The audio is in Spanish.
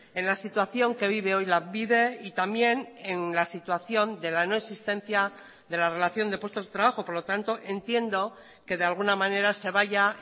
en la situación que vive hoy lanbide y también en la situación de la no existencia de la relación de puestos de trabajo por lo tanto entiendo que de alguna manera se vaya